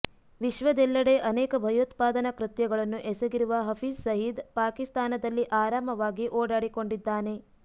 ವಿಶ್ವದೆಲ್ಲೆಡೆ ಅನೇಕ ಭಯೋತ್ಪಾದನಾ ಕೃತ್ಯಗಳನ್ನು ಎಸಗಿರುವ ಹಫೀಜ್ ಸಯೀದ್ ಪಾಕಿಸ್ತಾನದಲ್ಲಿ ಆರಾಮವಾಗಿ ಓಡಾಡಿಕೊಂಡಿದ್ದಾನೆ